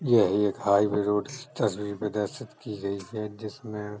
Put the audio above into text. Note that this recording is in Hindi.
यही एक हाइवे रोड -स् तस्वी में दरसित की गई है जिसमें --